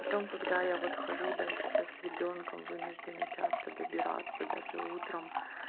потом когда я вот хожу да сейчас с ребёнком вынуждена часто добираться даже утром